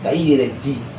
Ka i yɛrɛ di